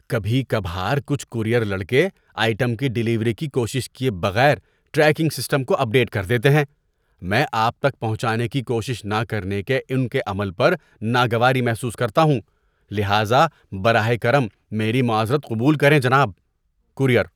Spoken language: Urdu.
کبھی کبھار کچھ کورئیر لڑکے آئٹم کی ڈیلیوری کی کوشش کیے بغیر ٹریکنگ سسٹم کو اپ ڈیٹ کر دیتے ہیں۔ میں آپ تک پہنچانے کی کوشش نہ کرنے کے ان کے عمل پر ناگواری محسوس کرتا ہوں، لہذا براہ کرم میری معذرت قبول کریں، جناب۔ (کورئیر)